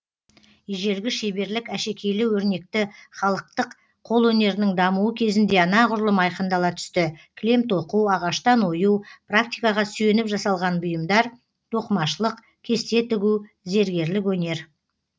ежелгі шеберлік әшекейлі өрнекті халықтық қол өнерінің дамуы кезінде анағұрлым айқындала түсті кілем тоқу ағаштан ою практикаға сүйеніп жасалған бұйымдар тоқымашылық кесте тігу зергерлік өнер